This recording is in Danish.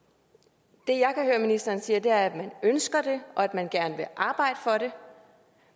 det ministeren sige er at man ønsker det og at man gerne vil arbejde for det